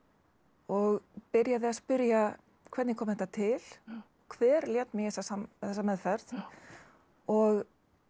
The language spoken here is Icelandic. og byrjaði að spurja hvernig kom þetta til hver lét mig í þessa meðferð og